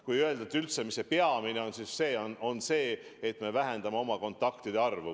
Kui öelda üldse, mis see peamine on, siis see on see, et me vähendame oma kontaktide arvu.